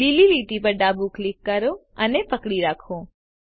લીલી લીટી પર ડાબું ક્લિક કરો અને પકડી રાખો